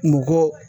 Mɔgɔ